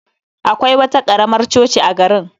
Akwai wata karamar coci a garin